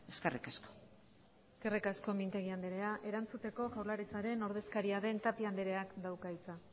eskerrik asko eskerrik asko mintegi andrea erantzuteko jaurlaritzaren ordezkaria den tapia andreak dauka hitza